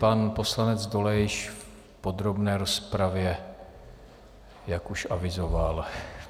Pan poslanec Dolejš k podrobné rozpravě, jak už avizoval.